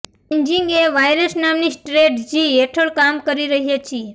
chasing a virus નામની strategy હેઠળ કામ કરી રહ્યાં છીએ